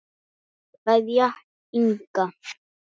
Kveðja, Inga.